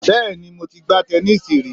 Bẹ́ẹ̀ni mo ti gbá tẹnísíì rí